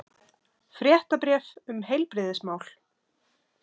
Fréttabréf um heilbrigðismál.